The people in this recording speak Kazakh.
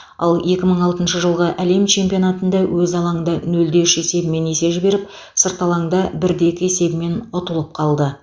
ал екі мың алтыншы жылғы әлем чемпионатында өз алаңында нөл де үш есебімен есе жіберіп сырт алаңда бір де екі есебімен ұтылып қалды